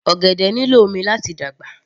Ọ̀gẹ̀dẹ̀ nílò omi láti dàgbà